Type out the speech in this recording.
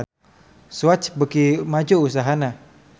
Swatch beuki maju usahana